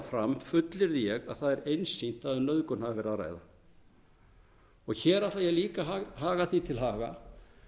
fram fullyrði ég að það er einsýnt að um nauðgun hafi verið að ræða hér ætla ég líka að halda því til haga